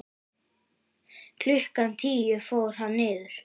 Klukkan tíu fór hann niður.